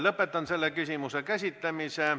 Lõpetan selle küsimuse käsitlemise.